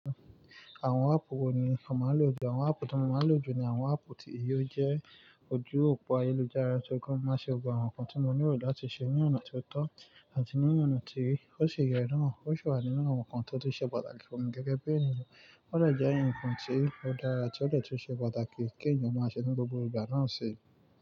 Àwọn won àpuù wo ni o máa lò ju? Àwọn àpuù tí mo máa lò ju ni àwọn àpuù tí yóò jẹ́, ojú òpó ayélujára tí ó gán má ṣe gbogbo àwọn nǹkan tí mo ní lo tí ṣe, ní ọ̀nà tiotọ́ àti ní ọ̀nà tí ó ṣe ìyè naa, ó sì wà nínú àwọn nǹkan tó ti ṣe pàtàkì fún mi gẹ́gẹ́ bí ènìyàn. Ó de jẹ́ ǹkan tí ó dára ti ó de tu ṣe pàtàkì, kí ènìyàn máa ṣe nínú gbogbo ìgbà náà ṣi.